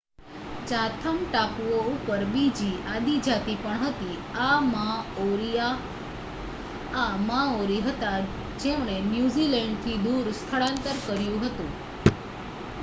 Chatham ટાપુઓ ઉપર બીજી આદિ જાતિ પણ હતી આ માઓરી હતા જેમણે ન્યુઝીલેન્ડ થી દૂર સ્થળાંતર કર્યું હતું